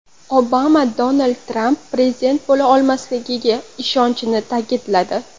Obama Donald Tramp prezident bo‘la olmasligiga ishonishini ta’kidladi.